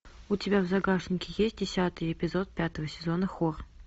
у тебя в загашнике есть десятый эпизод пятого сезона хор